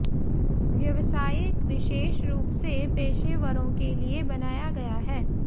व्यावसायिक विशेष रूप से पेशेवरों के लिए बनाया गया है